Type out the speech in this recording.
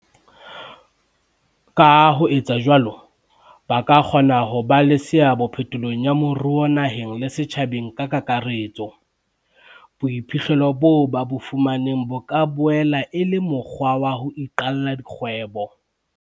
Ka ho etsa jwalo, ba kgona ho ba le seabo phetolong ya moruo naheng le setjhabeng ka kakaretso. Boiphihlelo boo ba bo fumaneng bo ka boela e le mokgwa wa ho iqalla dikgwebo.